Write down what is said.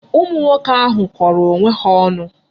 Ụmụ nwoke ahu kọrọ onwe ha ọnụ.